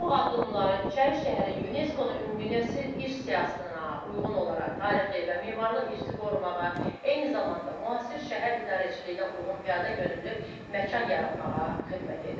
Bu addımları İçərişəhərin UNESCO-nun Ümumdünya İrsi siyahısına uyğun olaraq tarixi və memarlıq irsini qorumağa, eyni zamanda müasir şəhər idarəçiliyinə uyğun piyadayönümlü məkan yaratmağa xidmət edir.